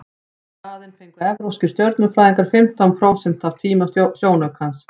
í staðinn fengu evrópskir stjörnufræðingar fimmtán prósent af tíma sjónaukans